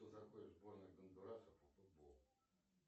кто такой сборная гондураса по футболу